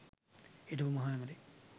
හිටපු මහ ඇමති